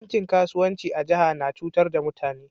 Bankin kasuwanci a jihar na cutar da mutane.